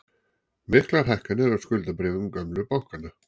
Miklar hækkanir á skuldabréfum gömlu bankanna